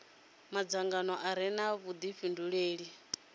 madzangano a re na vhudifhinduleli